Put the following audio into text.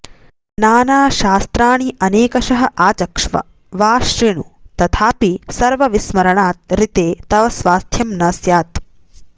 नानाशास्त्राणि अनेकशः आचक्ष्व वा शृणु तथापि सर्वविस्मरणात् ऋते तव स्वास्थ्यम् न स्यात्